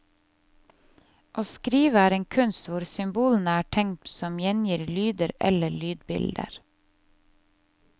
Å skrive er en kunst hvor symbolene er tegn som gjengir lyder eller lydbilder.